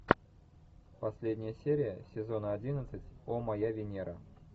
последняя серия сезона одиннадцать о моя венера